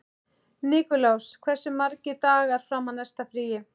Nikulás, hversu margir dagar fram að næsta fríi?